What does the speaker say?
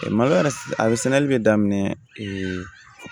Malo yɛrɛ a sɛnɛli bɛ daminɛ